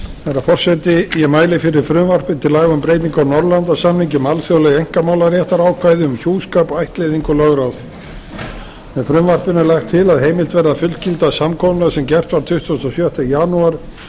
herra forseti ég mæli fyrir frumvarp til laga um breytingu á norðurlandasamningi um alþjóðleg einkamálaréttarákvæði um hjúskap ættleiðingu og lögráð með frumvarpinu er lagt til að heimilt verði að fullgilda samkomulag sem gert var tuttugasta og sjötta janúar